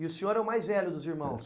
E o senhor é o mais velho dos irmãos?